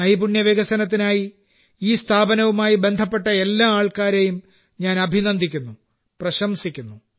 നൈപുണ്യ വികസനത്തിനായി ഈ സ്ഥാപനവുമായി ബന്ധപ്പെട്ട എല്ലാ ആൾക്കാരെയും ഞാൻ അഭിനന്ദിക്കുന്നു പ്രശംസിക്കുന്നു